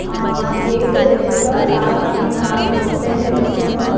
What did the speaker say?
ఆ గేట్ ఎదురుగా చాల మంది వ్యక్తులు అయితే నిల్చొనిఉన్నా--